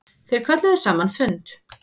Þeir kölluðu saman fund.